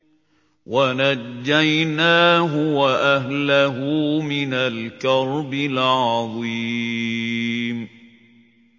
وَنَجَّيْنَاهُ وَأَهْلَهُ مِنَ الْكَرْبِ الْعَظِيمِ